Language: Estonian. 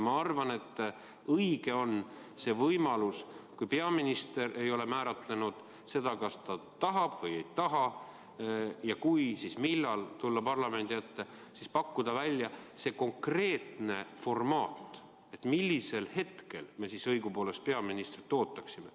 Ma arvan, et õige on see võimalus, et kui peaminister ei ole määratlenud seda, kas ta tahab või ei taha ja kui, siis millal tulla parlamendi ette, siis pakkuda välja see konkreetne formaat, mis hetkel me siis õigupoolest peaministrit ootaksime.